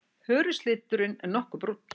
Hörundsliturinn nokkuð brúnn.